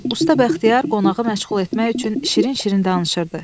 Usta Bəxtiyar qonağı məşğul etmək üçün şirin-şirin danışırdı.